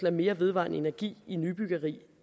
af mere vedvarende energi i nybyggeri